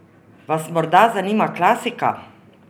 Vas morda zanima klasika?